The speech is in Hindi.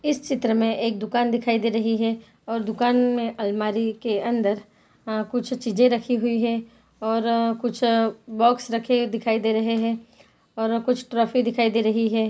इस चित्र में एक दुकान दिखाई दे रही हैं और दुकान में अलमारी के अंदर अ कुछ चीजे रखी हुई हैं और कुछ बॉक्स रखे दिखाई दे रहे हैं और कुछ ट्रॉफी दिखाई दे रही हैं।